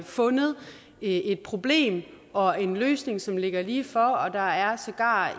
fundet et problem og en løsning som ligger lige for og der er sågar